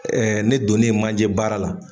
ne donne manje baara la